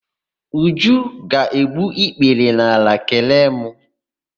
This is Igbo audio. Uju ga-egbu ikpere n'ala kelee mụ.